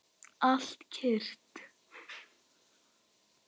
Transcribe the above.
Allt kyrrt.